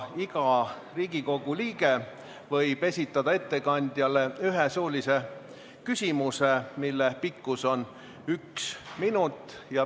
Iga Riigikogu liige võib esitada ettekandjale ühe suulise küsimuse, mille pikkus on üks minut.